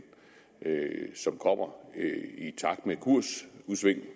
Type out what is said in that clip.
som kommer i takt med kursudsving